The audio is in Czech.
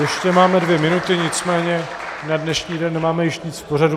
Ještě máme dvě minuty, nicméně na dnešní den nemáme již nic v pořadu.